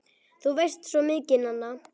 Þú veist svo mikið, Nanna!